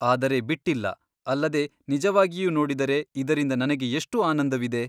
ಆದರೆ ಬಿಟ್ಟಿಲ್ಲ ಅಲ್ಲದೆ ನಿಜವಾಗಿಯೂ ನೋಡಿದರೆ ಇದರಿಂದ ನನಗೆ ಎಷ್ಟು ಆನಂದವಿದೆ?